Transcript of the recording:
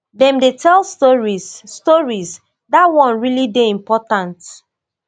dem dey tell stories stories dat one really dey important